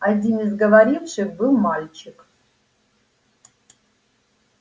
один из говоривших был мальчик